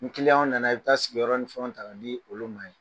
N nana i bɛ taa sigiyɔrɔ ni fɛnw ta ka di olu ma ye.